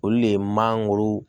Olu de ye mangoro